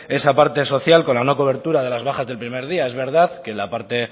esa parte social con la no cobertura de las bajas del primer día es verdad que la parte